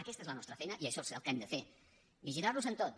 aquesta és la nostra feina i això és el que hem de fer vigilar los en tot